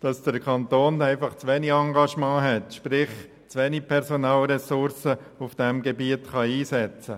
dass der Kanton zu wenig Engagement zeigt, sprich er kann zu wenig Personalressourcen auf diesem Gebiet einsetzen.